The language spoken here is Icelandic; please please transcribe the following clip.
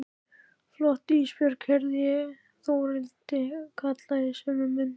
Fljót Ísbjörg, heyri ég Þórhildi kalla í sömu mund.